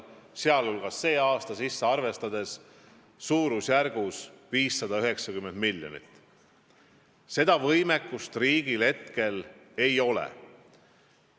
590 miljonit – seda võimekust riigil praegu ei ole.